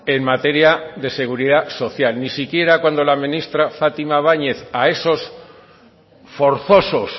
en materia de seguridad social ni siquiera cuando la ministra fátima báñez a esos forzosos